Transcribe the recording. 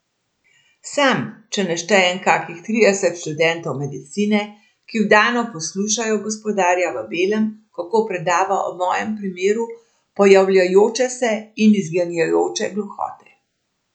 Sam, če ne štejem kakih trideset študentov medicine, ki vdano poslušajo gospodarja v belem, kako predava o mojem primeru pojavljajoče se in izginjajoče gluhote.